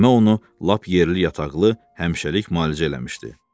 Məmmə onu lap yerli-yataqlı, həmişəlik malicə eləmişdi.